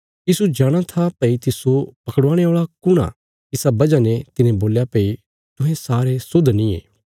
यीशु जाणा था भई तिस्सो पकड़वाणे औल़ा कुण आ इसा वजह ने तिने बोल्या भई तुहें सारे शुद्ध नींये